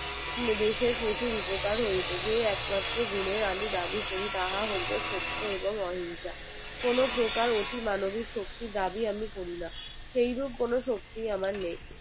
দেশের প্রচুর উপকার হতে যেয়ে একমাত্র গুণের আমি দাবি করি তাহা হলো সত্য এবং অহিংসা কোনো প্রকার অতিমানবিক শক্তি দাবি আমি করি না সেইরকম কোনো শক্তি আমার নেই